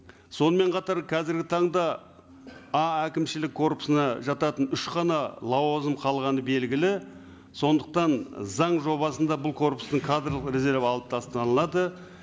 сонымен қатар қазіргі таңда а әкімшілік корпусына жататын үш қана лауазым қалғаны белгілі сондықтан заң жобасында бұл корпустың кадрлық резерві алып тасталынады